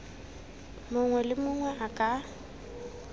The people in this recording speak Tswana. mongwe le mongwe a ka